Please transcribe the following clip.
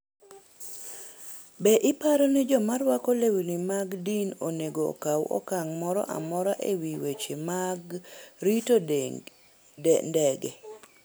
Be iparo ni joma rwako lewni mag din onego okaw okang' moro amora e wi weche mag rito ndege?